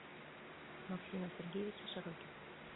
максима сергеевича широких